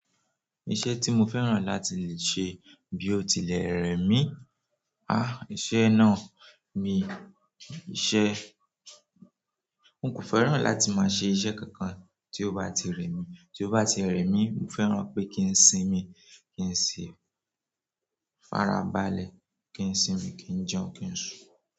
Iṣẹ́ tí mo fẹ́ràn láti le ṣe bí ó tilẹ̀ rẹ̀ mí, ah! Iṣẹ́ náà mi- iṣẹ́, n kò fẹ́ràn láti máa ṣe iṣẹ́ kankan tí ó bá ti rẹ́ mi, tí ó bá ti rẹ́ mi, mo fẹ́ràn pé kí ń sinmi, kí ń si farabalẹ̀ ki n sinmi, ki n jẹun, ki n sun.